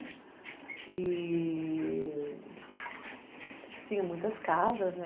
E... tinha muitas casas, né?